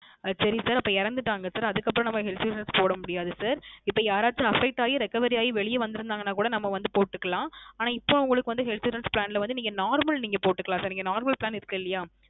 அஹ் சரி sir அப்போ இறந்துட்டாங்க Sir அதற்கு அப்புறம் நம்ம Health Insurance போடமுடியாத sir இப்போ யாராச்சு affect ஆகி Recovery ஆகி வெளிய வந்து இருந்தாங்கன கூட நம்ம வந்து போட்டுக்கலாம் ஆனா இப்போ உங்களுக்கு வந்து Health Insurance Plan ல வந்து நீங்க Normal நீங்க போட்டுக்கலாம் Sir நீங்க Normal Plan இருக்கு இல்லயா